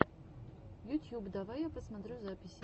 ютьюб давай я посмотрю записи